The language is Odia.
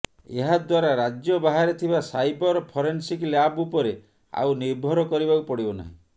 ଏହାଦ୍ୱାରା ରାଜ୍ୟ ବାହାରେ ଥିବା ସାଇବର ଫରେନ୍ସିକ ଲ୍ୟାବ୍ ଉପରେ ଆଉ ନିର୍ଭର କରିବାକୁ ପଡ଼ିବ ନାହିଁ